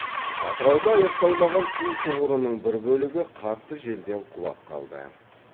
атырауда аяқталмаған ту тұғырының бір бөлігі қатты желден құлап қалды